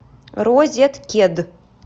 розеткед